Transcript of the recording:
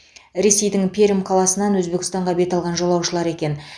ресейдің перьм қаласынан өзбекстанға бет алған жолаушылар екен